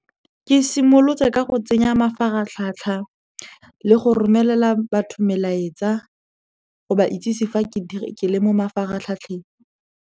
Ke simolotse ka go tsenya mafaratlhatlha le go romelela batho melaetsa go ba itsise fa ke le mo mafaratlhatlheng.